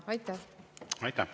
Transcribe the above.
Aitäh!